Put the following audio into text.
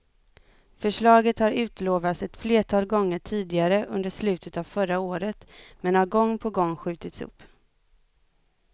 Förslaget har utlovats ett flertal gånger tidigare under slutet av förra året, men har gång på gång skjutits upp.